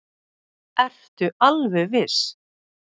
Ertu alveg viss?